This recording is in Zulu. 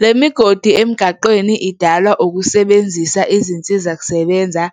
Le migodi emgaqweni idalwa ukusebenzisa izinsizakusebenza